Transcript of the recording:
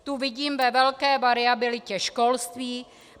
Tu vidím ve velké variabilitě školství.